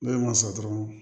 N'o ma sɔn dɔrɔn